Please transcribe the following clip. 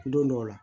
Don dɔw la